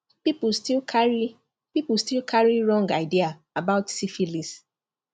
people still carry people still carry wrong idea about syphilis